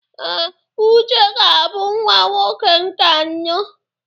Ee, Uche ga-abụ nwa nwoke nke anọ.